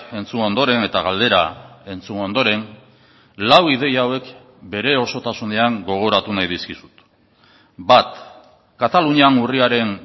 entzun ondoren eta galdera entzun ondoren lau ideia hauek bere osotasunean gogoratu nahi dizkizut bat katalunian urriaren